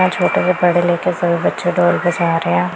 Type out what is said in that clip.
पढ़े लिखे सभी बच्चे डॉल के सहारे या--